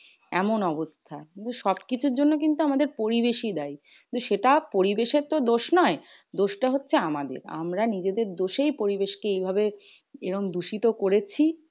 এমন অবস্থা সব কিছুর জন্য কিন্তু আমাদের পরিবেশই দায়ী। তো সেটা পরিবেশের তো দোষ নয়, দোষটা হচ্ছে আমাদের। আমরা নিজেদের দোষেই পরিবেশ কে এই ভাবে এরম দূষিত করেছি।